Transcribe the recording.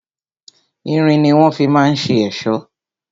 Irin ni wọ́n fi ma ń ṣe èṣó.